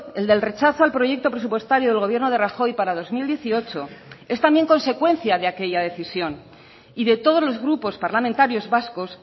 el del rechazo al proyecto presupuestario del gobierno de rajoy para dos mil dieciocho es también consecuencia de aquella decisión y de todos los grupos parlamentarios vascos